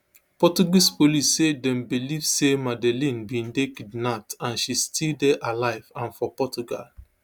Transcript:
portuguese police say dem believe say madeleine bin dey kidnapped and she still dey alive and for portugal